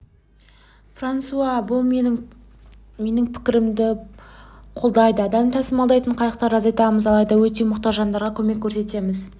франсуа менің бұл пікірімді қолдайды адам тасымалдайтын қайықтарды азайтамыз алайда өте мұқтаж жандарға көмек көрсетеміз